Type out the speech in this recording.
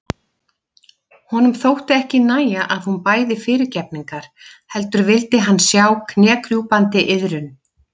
Honum þótti ekki nægja að hún bæði fyrirgefningar heldur vildi hann sjá knékrjúpandi iðrun.